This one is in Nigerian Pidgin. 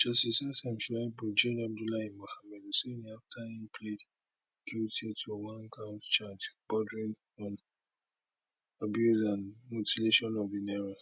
justice sm shuaibu jail abdullahi musa huseini afta im plead guilty to onecount charge bordering on abuse and mutilation of di naira